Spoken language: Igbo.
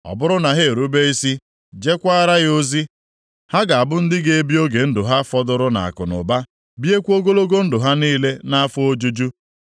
Ọ bụrụ na ha erube isi, jekwaara ya ozi, ha ga-abụ ndị ga-ebi oge ndụ ha fọdụrụ nʼakụnụba, biekwa ogologo ndụ ha niile nʼafọ ojuju.